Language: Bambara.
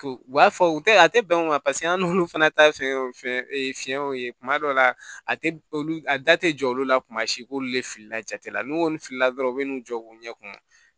U b'a fɔ u tɛ a tɛ bɛn o ma paseke an n'olu fana ta ye fɛn ye fɛn fiɲɛw ye kuma dɔw la a tɛ olu a da tɛ jɔ olu la kuma si k'olu le filila jate la n'u kɔni filila dɔrɔn u bɛ n'u jɔ k'u ɲɛkun